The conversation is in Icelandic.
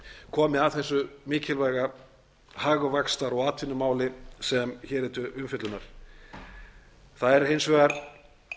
komið að þessu mikilvæga hagvaxtar og atvinnumáli sem hér er til umfjöllunar það er hins vegar